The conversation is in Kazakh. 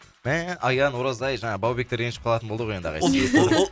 мә аян оразай жаңағы баубектер ренжіп қалатын болды ғой енді ағай сізге